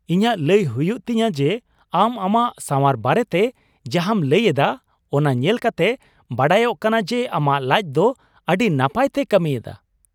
ᱤᱧᱟᱜ ᱞᱟᱹᱭ ᱦᱩᱭᱩᱜ ᱛᱤᱧᱟᱹ ᱡᱮ, ᱟᱢ ᱟᱢᱟᱜ ᱥᱟᱶᱟᱨ ᱵᱟᱨᱮᱛᱮ ᱡᱟᱦᱟᱸᱢ ᱞᱟᱹᱭ ᱮᱫᱟ, ᱚᱱᱟ ᱧᱮᱞ ᱠᱟᱛᱮ ᱵᱟᱰᱟᱭᱚᱜ ᱠᱟᱱᱟ ᱡᱮ ᱟᱢᱟᱜ ᱞᱟᱡ ᱫᱚ ᱟᱹᱰᱤ ᱱᱟᱯᱟᱭ ᱛᱮᱭ ᱠᱟᱹᱢᱤ ᱮᱫᱟ ᱾